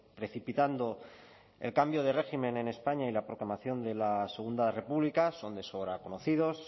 precipitando el cambio de régimen en españa y la proclamación de la segundo república son de sobra conocidos